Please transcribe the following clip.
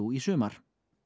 í sumar